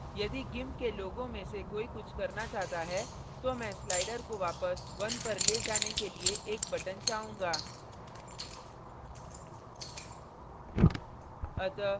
यदि gimp gimp के लोगों में से कोई कुछ करना चाहता है तो मैं slider को वापस 1 पर ले जाने के लिए एक button चाहूंगा